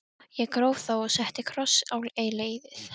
Ég gróf þá og setti kross á leiðið.